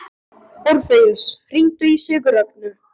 Orfeus, hringdu í Sigurrögnu.